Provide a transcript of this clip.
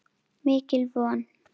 Mikil von.